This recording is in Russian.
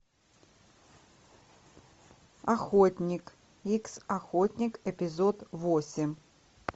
охотник икс охотник эпизод восемь